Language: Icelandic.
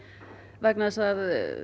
vegna þess að